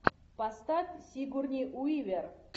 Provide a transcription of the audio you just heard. поставь сигурни уивер